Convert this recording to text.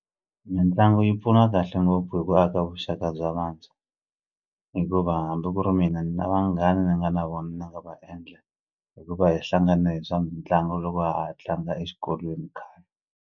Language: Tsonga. Mitlangu yi pfuna kahle ngopfu hi ku aka vuxaka bya vantshwa hikuva hambi ku ri mina ni na vanghana ni nga na vona ni nga va endla hi ku va hi hlangane hi swa mitlangu loko ha ha tlanga exikolweni khale.